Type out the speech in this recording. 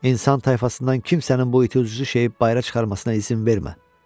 İnsan tayfasından kimsənin bu iti uclu şeyi bayıra çıxarmasına izin vermə.